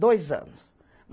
Dois anos.